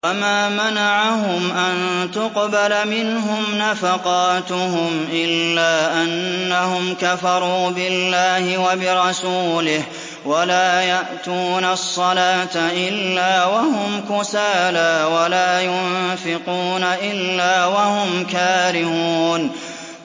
وَمَا مَنَعَهُمْ أَن تُقْبَلَ مِنْهُمْ نَفَقَاتُهُمْ إِلَّا أَنَّهُمْ كَفَرُوا بِاللَّهِ وَبِرَسُولِهِ وَلَا يَأْتُونَ الصَّلَاةَ إِلَّا وَهُمْ كُسَالَىٰ وَلَا يُنفِقُونَ إِلَّا وَهُمْ كَارِهُونَ